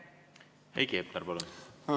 Heiki Hepner, palun!